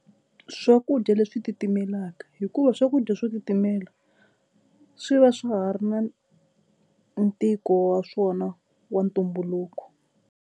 Swakudya leswi titimelaka hikuva swakudya swo switimela swi va swa ha ri na ntiko wa swona wa ntumbuluko.